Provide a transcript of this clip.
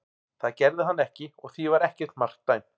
Það gerði hann ekki og því var ekkert mark dæmt.